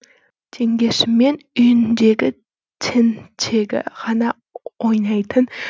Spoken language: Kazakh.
теңгесімен үйіндегі тентегі ғана ойнайтын